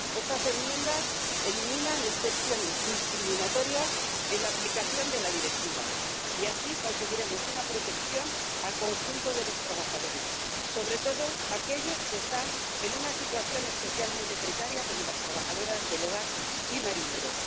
Estas enmiendas eliminan excepciones discriminatorias en la aplicación de la Directiva y así conseguiremos una protección para el conjunto de los trabajadores, sobre todo para aquellos que están en una situación especialmente precaria como las trabajadoras del hogar y los marineros.